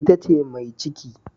Ita ce mai ciki.